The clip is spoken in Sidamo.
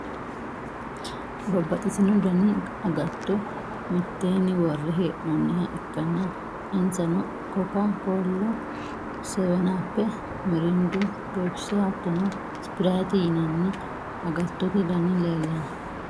babbaxitino dani agatto mitteenni worre hee'noonniha ikkanna, insano: koka kollu, seweni appe, mirindu, pepsi hattono sprite yinanni agattote dani leelanno.